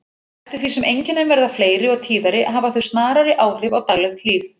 Eftir því sem einkennin verða fleiri og tíðari hafa þau snarari áhrif á daglegt líf.